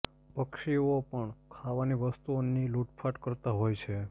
પક્ષીઓ પણ ખાવાની વસ્તુઓની લૂંટફાટ કરતા હોય છે